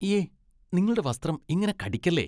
ഇയ്യെ, നിങ്ങളുടെ വസ്ത്രം ഇങ്ങനെ കടിക്കല്ലേ.